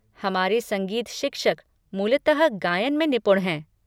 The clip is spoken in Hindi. हमारे संगीत शिक्षक मूलतः गायन में निपुण हैं।